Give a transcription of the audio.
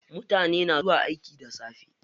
Mutane na zuwa aiki da safe.